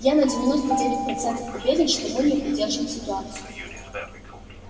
я на девяносто девять процентов уверен что мы не удержим ситуацию